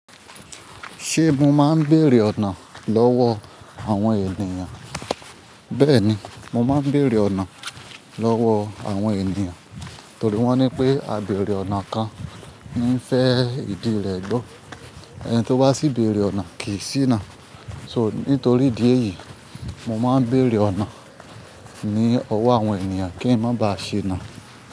Ṣé mo máa ń béèrè ọ̀nà lọ́wọ́ àwọn ènìyàn? Bẹ́ẹ̀ni, mo máa ń béèrè ọ̀nà lọ́wọ́ àwọn ènìyàn torí wọ́n ní pé, "A béèrè ọ̀nà kan ní fẹ ìdí rẹ gbọ́, ẹni tí ó bá sì béèrè ọ̀nà kì í siná." Soo, nítorí ìdí èyí, mo máa ń béèrè ọ̀nà ní ọwọ́ àwọn ènìyàn kí n má ba à ṣíná.